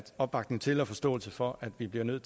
opbakning til og forståelse for at vi bliver nødt